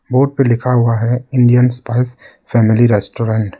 Board पे लिखा हुआ है इंडियन स्पाइस फैमिली रेस्टोरेंट ।